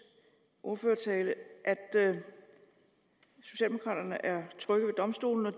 ordførertale at socialdemokraterne er trygge ved domstolene og